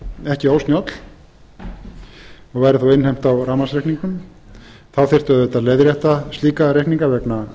ekki ósnjöll og væri þá innheimt á rafmangsreikningnum þá þyrfti auðvitað að leiðrétta slíka reikninga vegna